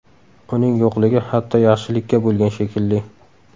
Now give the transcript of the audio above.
Uning yo‘qligi hatto yaxshilikka bo‘lgan, shekilli.